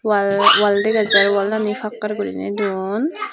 wall wall dega jar wallani pakkar guriney don.